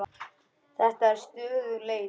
Þetta er stöðug leit!